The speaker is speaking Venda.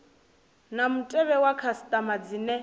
na mutevhe wa khasitama dzine